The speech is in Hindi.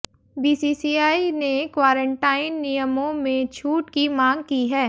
बीसीसीआई ने क्वारंटाइन नियमों में छूट की मांग की है